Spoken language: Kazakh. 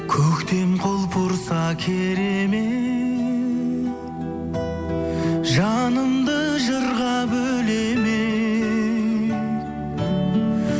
көктем құлпырса керемет жанымды жырға бөлемек